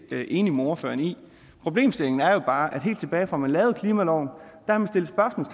enig med ordføreren i problemstillingen er jo bare at helt tilbage fra at man lavede klimaloven